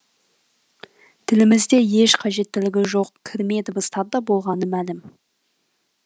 тілімізде еш қажеттілігі жоқ кірме дыбыстар да болғаны мәлім